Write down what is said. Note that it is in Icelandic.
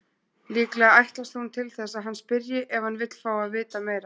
Líklega ætlast hún til þess að hann spyrji ef hann vill fá að vita meira.